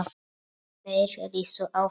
Þeir risu á fætur.